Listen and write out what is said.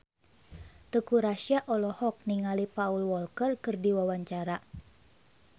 Teuku Rassya olohok ningali Paul Walker keur diwawancara